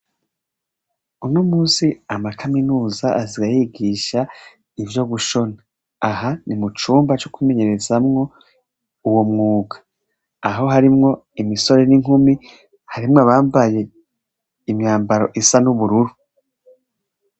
Uno munsi amashure ya kaminuza asigaye yigisha ivyo gushona, aha nimucumba co kumenyerezaho uwo mwuga aho harimwo imisore ninkumi, harimwo uwambaye imyambaro isa nubururu.